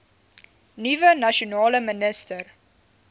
nuwe nasionale minister